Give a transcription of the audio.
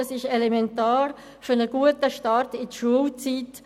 es ist elementar für einen guten Start in die Schulzeit.